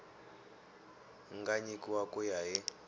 nga nyikiwa ku ya hi